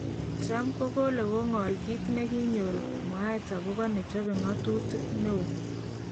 Trump kokole ko'ngol kit nekinyor mwaet okobo nechope ngotutik neo